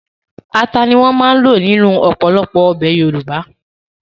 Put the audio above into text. Ata ni wọ́n máa ń lò nínú ọ̀pọ̀lọpọ̀ ọbẹ̀ Yorùbá